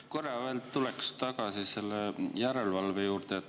Korra tulen veel tagasi järelevalve juurde.